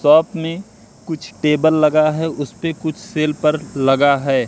साथ में कुछ टेबल लगा है उस पे कुछ सेल पर लगा है।